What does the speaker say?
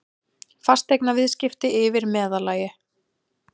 Fasteignaviðskipti yfir meðallagi